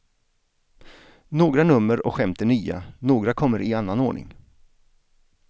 Några nummer och skämt är nya, några kommer i annan ordning.